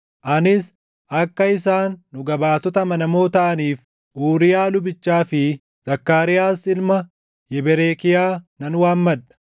Anis akka isaan dhuga baatota amanamoo taʼaniif Uuriyaa lubichaa fi Zakkaariyaas ilma Yeberekiyaa nan waammadha.